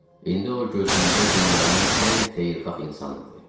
İndi o gözümdə dünyanın ən xeyirxah insan idi.